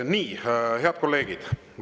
Nii, head kolleegid!